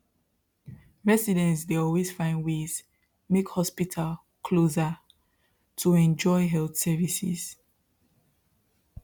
residents dey always find ways make hospital closer to enjoy health services